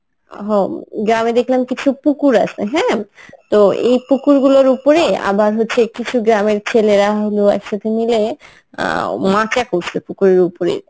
হ গ্রামে দেখলাম কিছু পুকুর আছে হ্যাঁ তো এই পুকুর গুলোর উপরে আবার হচ্ছে কিছু গ্রামের ছেলেরা হলো একসাথে মিলে অ্যাঁ মাচা করছে পুকুরের উপরে